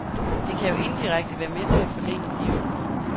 Det kan jo indirekte være med til at forlænge livet.